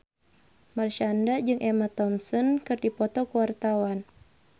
Marshanda jeung Emma Thompson keur dipoto ku wartawan